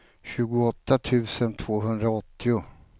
tjugoåtta tusen tvåhundraåttio